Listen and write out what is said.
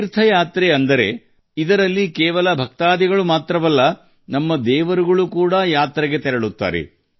ದೇವ ಯಾತ್ರೆಗಳು ಅಂದರೆ ಇದರಲ್ಲಿ ಭಕ್ತರು ಮಾತ್ರವಲ್ಲದೆ ನಮ್ಮ ದೇವರುಗಳೂ ಪ್ರಯಾಣಿಸುತ್ತಾರೆ